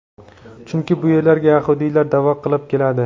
Chunki bu yerlarga yahudiylar da’vo qilib keladi.